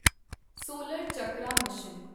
solar chakra mission